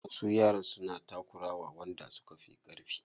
Wasu yaran suna takura wa wanda suka fi ƙarfi.